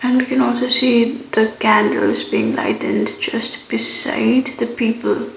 and we can also see the candles being lighted just beside the people.